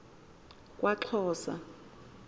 kwaxhosa